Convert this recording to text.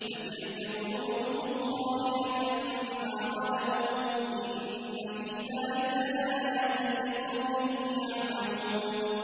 فَتِلْكَ بُيُوتُهُمْ خَاوِيَةً بِمَا ظَلَمُوا ۗ إِنَّ فِي ذَٰلِكَ لَآيَةً لِّقَوْمٍ يَعْلَمُونَ